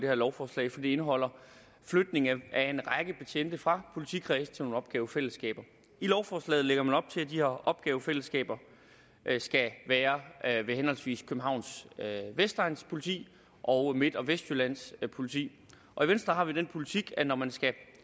her lovforslag for det indeholder flytning af en række betjente fra politikredse til nogle opgavefællesskaber i lovforslaget lægger man op til at de her opgavefællesskaber skal være ved henholdsvis københavns vestegns politi og midt og vestjyllands politi og i venstre har vi den politik at når man skal